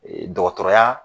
Ee Dɔgɔtɔrɔya